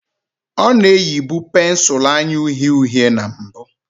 Ọ na-eyibu pensụl anya uhie uhie na mbụ